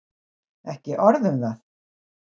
Ekki orð um það!